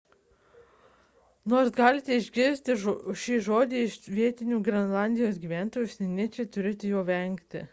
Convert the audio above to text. nors galite išgirsti šį žodį iš vietinių grenlandijos gyventojų užsieniečiai turėtų jo vengti